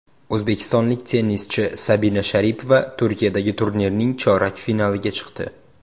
O‘zbekistonlik tennischi Sabina Sharipova Turkiyadagi turnirning chorak finaliga chiqdi.